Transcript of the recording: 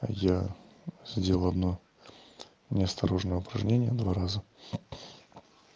я сделал одно неосторожное упражнение два раза